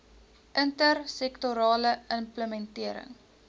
inter sektorale implementering